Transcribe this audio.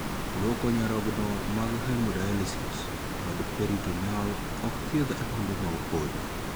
Luoko nyarogno mag 'hemodialysis' kod 'peritoneal' ok thiedh adundo ma opodho